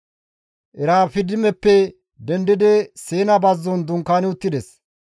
Erafidimeppe dendidi Siina bazzon dunkaani uttides.